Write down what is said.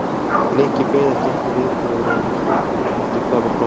Nikki beið ekki eftir viðbrögðum stúlkunnar heldur hvarf á brott.